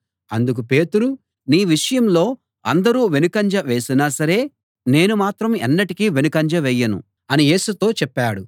అందుకు పేతురు నీ విషయంలో అందరూ వెనుకంజ వేసినా సరే నేను మాత్రం ఎన్నటికీ వెనుకంజ వేయను అని యేసుతో చెప్పాడు